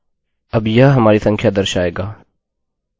अब यह हमारी संख्या दर्शाएगा